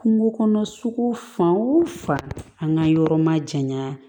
Kungo kɔnɔ sugu fan wo fan an ka yɔrɔ ma janya